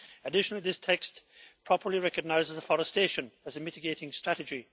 Additionally, this text properly recognises afforestation as a mitigating strategy.